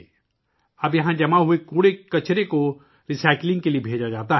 اب یہاں جمع ہونے والے کچرے کو ری سائیکلنگ کے لیے بھیجا جاتا ہے